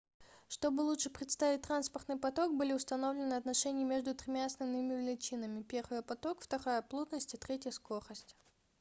чтобы лучше представить транспортный поток были установлены отношения между тремя основными величинами: 1 поток 2 плотность и 3 скорость